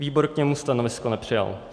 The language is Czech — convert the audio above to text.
Výbor k němu stanovisko nepřijal.